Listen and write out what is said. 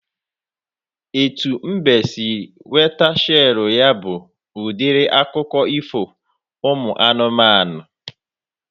Etu mbe si nweta shelu ya bụ udiri akụkọ ifo ụmụ anụmanụ